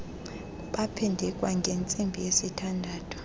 baphinde kwangentsimbi yesithandathu